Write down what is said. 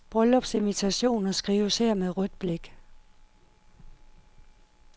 Bryllupsinvitationer skrives her med rødt blæk.